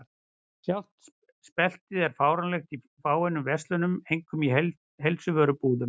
Sjálft speltið er fáanlegt í fáeinum verslunum, einkum í heilsuvörubúðum.